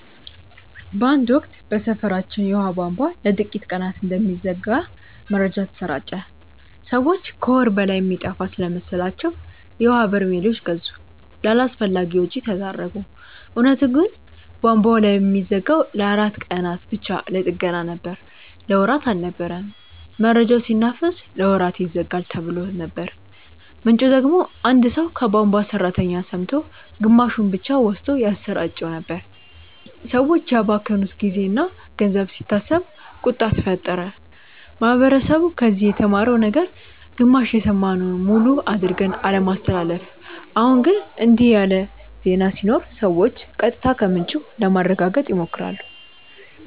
በአንድ ወቅት በሰፈራችን የውሃ ቧንቧ ለጥቂት ቀናት እንደሚዘጋ መረጃ ተሰራጨ። ሰዎች ከወር በላይ የሚጠፋ ስለመሰላቸው የውሀ በርሜሎች ገዙ፣ ለአላስፈላጊ ወጪ ተዳረጉ። እውነቱ ግን ቧንቧው የሚዘጋው ለአራት ቀናት ብቻ ለጥገና ነበር። ለወራት አልነበረም። መረጃው ሲናፈስ "ለወራት ይዘጋል"ተብሎ ነበር፣ ምንጩ ደግሞ አንድ ሰው ከቧንቧ ሠራተኛ ሰምቶ ግማሹን ብቻ ወስዶ ያሰራጨው ነበር። ሰዎች ያባከኑት ጊዜና ገንዘብ ሲታሰብ ቁጣ ተፈጠረ። ማህበረሰቡ ከዚህ የተማረው ነገር ግማሽ የሰማነውን ሙሉ አድርገን አለማስተላለፍ። አሁን ግን እንዲህ ያለ ዜና ሲኖር ሰዎች ቀጥታ ከምንጩ ለማረጋገጥ ይሞክራሉ